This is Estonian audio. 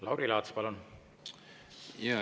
Lauri Laats, palun!